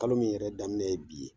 Kalo min yɛrɛ daminɛ ye bi ye